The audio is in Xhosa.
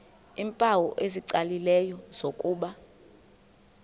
iimpawu ezicacileyo zokuba